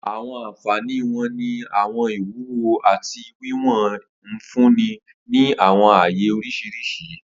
Awọn anfani wo ni awọn iwuwo ati wiwọn nfunni ni awọn aaye oriṣiriṣi?